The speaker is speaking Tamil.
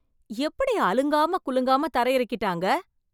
எப்படி அலங்காம குலுங்காம தரையிறக்கிட்டாங்க!